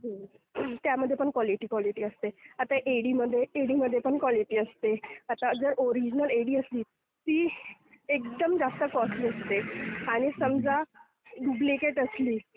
त्यामध्ये पण quality quality असते. आता एडीमध्ये... एडीमध्ये पण क्वालिटी असते. आता जर ओरिजिनल एडी असली तर ती एकदम जास्त कॉस्टली असते आणि समजा ड्युप्लिकेट असली...